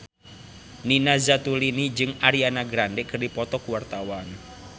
Nina Zatulini jeung Ariana Grande keur dipoto ku wartawan